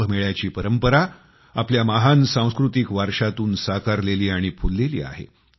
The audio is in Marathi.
कुंभमेळ्याची परंपरा आपल्या महान सांस्कृतिक वारशातून साकारलेली आणि फुललेली आहे